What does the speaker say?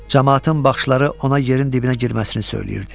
Camaatın baxışları ona yerin dibinə girməsini söyləyirdi.